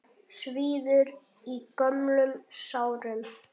Svíður í gömlum sárum.